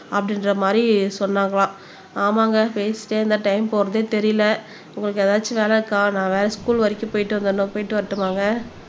அப்படின்ற மாதிரி சொன்னாங்களாம் ஆமாங்க பேசிட்டே இந்தடைம் போறதே தெரியலை உங்களுக்கு ஏதாச்சும் வேலை இருக்கா நா வேற ஸ்கூல் வரைக்கும் போயிட்டு வந்திடணும் போயிட்டு வரட்டுமாங்க